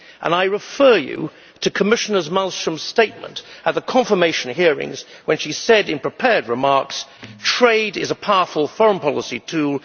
I refer you to Commissioner Malström's statement at the confirmation hearings when she said, in prepared remarks, that trade is a powerful foreign policy tool